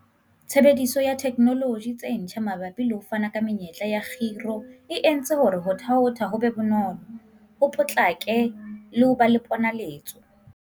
Tshebediso ya dithekenoloji tse ntjha mabapi le ho fana ka menyetla ya khiro e entse hore ho thaotha ho be bonolo, ho potlake le ho ba le ponaletso.